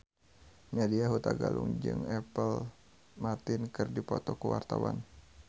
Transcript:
Nadya Hutagalung jeung Apple Martin keur dipoto ku wartawan